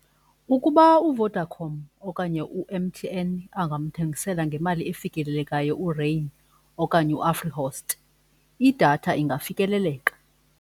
Ukuba uVodacom okanye u-M_T_N angamthengisela ngemali efikelelekayo uRain okanye uAfrihost, idatha ingafikeleleka.